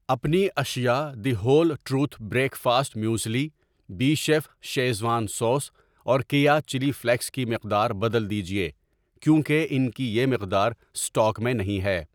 اپنی اشیاء the whole truth breakfast muesli, B chef schezwan sauce اور کییا چلی فلیکس کی مقدار بدل دیجیے کیونکہ انکی یہ مقدار سٹاک میں نہیں ہے۔